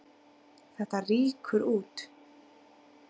Þetta rýkur út.